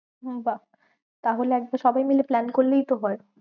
উম বাহ্ তাহলে একবার সবাই মিলে plan করলেই তো হয়।